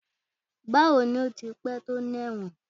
Bawo ni o ti pẹ to ni ẹwọn?